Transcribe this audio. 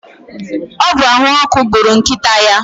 ọ bụ ahụ ọkụ gburu nkịta ya